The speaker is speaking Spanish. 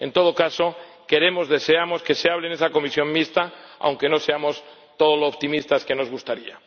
En todo caso, queremos, deseamos que se hable en esa comisión mixta, aunque no seamos todo lo optimistas que nos gustaría.